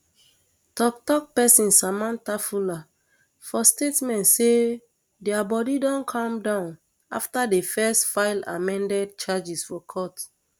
toktok person samantha fuller for statement say dia body um don calm down afta di firs um file amended charges for court